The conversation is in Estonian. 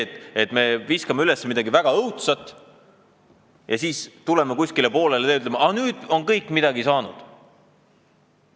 Aga ärme viskame üles midagi väga õudset, ärme läheme kuskile poolele teele ja ütleme: "Nüüd on kõik midagi saanud.